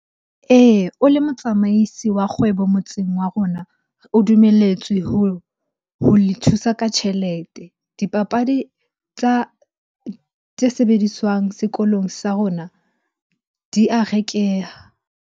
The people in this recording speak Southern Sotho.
Eya, o le motsamaisi wa kgwebo motseng wa rona. O dumelletswe ho le thusa ka tjhelete. Dipapadi tsa, tse sebediswang sekolong sa rona di a rekeha.